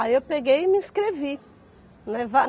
Aí eu peguei e me inscrevi, né va